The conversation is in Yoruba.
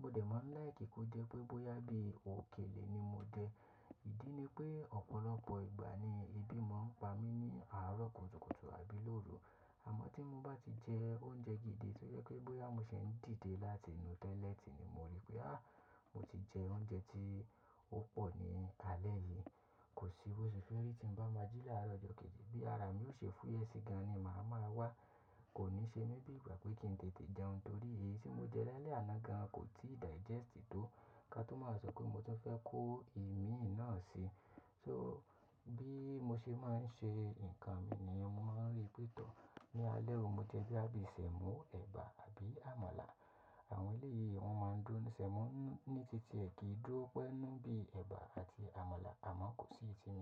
Mo dẹ̀ máa ń like kó jẹ́ pé bóyá bí òkèlè ni mo jẹ. Ìdí ni pé ọ̀pọ̀lọpọ̀ ìgbà ni èébì máa ń pa mí ní àárọ̀ kùtùkùtù àbí lóru. Àmọ́ tí mo bá ti jẹ oúnjẹ gidi tó jẹ́ pé bóyá mo ṣe ń dìde láti inú toilet ni mo rí pé à mo ti jẹ oúnjẹ tí ó pọ̀ ní alẹ́ yìí. Kò sí bó ṣe fẹ́ rí tí ń bá máa jí láàárọ̀ ọjọ́ kejì bí ara mi ó ṣe fúyẹ́ sí gan ni màá ma wá. Kò ní ṣe mí bí ìgbà pé kí ń tètè jẹun torí èyí tí mo jẹ lálẹ́ àná gan kò tíì digest tó ká tó máa sọ pé mo ti fẹ́ kó ìmi náà sí i. So bí mo ṣe máa ń ṣe nǹkan mi nìyẹn mo máa ń rí pé tọ́ ní alẹ́ ò mo jẹ bí àbí sẹ̀mọ́, ẹ̀bà àbí àmàlà. Àwọn eleyìí wọ́n máa ń dúró sínú sẹ̀mọ́ ní tí ti ẹ ki dúró pẹ́ nù bí ẹ̀bà àti àmàlà àmọ́ kò sí iyi tí.